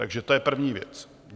Takže to je první věc.